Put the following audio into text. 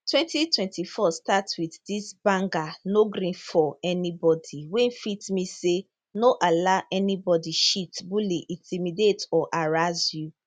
2024 start wit dis banger no gree for anybody wey fit mean say no allow anybody cheat bully intimidate or harass you